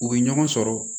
U bɛ ɲɔgɔn sɔrɔ